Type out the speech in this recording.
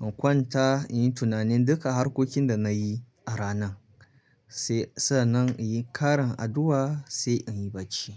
In kwanta in yi tunanin duka harkokin da na yi a ranan sai sannan in yi karan addu'a sai in yi bacci.